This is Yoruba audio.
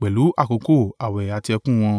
pẹ̀lú àkókò àwẹ̀ àti ẹkún wọn.